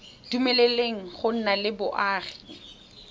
dumeleleng go nna le boagi